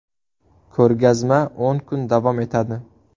Ko‘rgazma o‘n kun davom etadi.